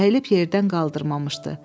Əyilib yerdən qaldırmamışdı.